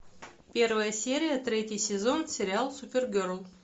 первая серия третий сезон сериал супергерл